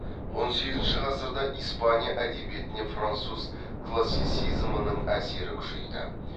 он сегізінші ғасырда испания әдебиетіне француз классицизмінің әсері күшейді